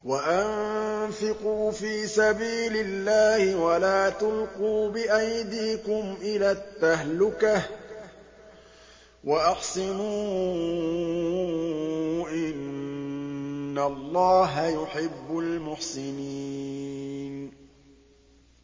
وَأَنفِقُوا فِي سَبِيلِ اللَّهِ وَلَا تُلْقُوا بِأَيْدِيكُمْ إِلَى التَّهْلُكَةِ ۛ وَأَحْسِنُوا ۛ إِنَّ اللَّهَ يُحِبُّ الْمُحْسِنِينَ